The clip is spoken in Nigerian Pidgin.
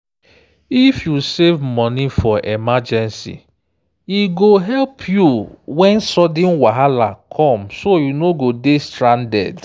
if you save money for emergency e go help you when sudden wahala come so you no go dey stranded.